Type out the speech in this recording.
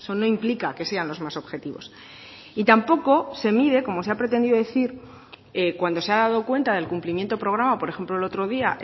no implica que sean los más objetivos y tampoco se mide como se ha pretendido decir cuando se ha dado cuenta del cumplimiento programa por ejemplo el otro día